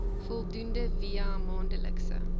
voldoening via maandelikse